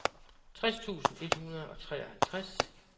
tres tusind et hundrede og treoghalvtreds